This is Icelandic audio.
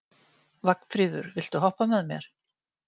Vagnfríður, viltu hoppa með mér?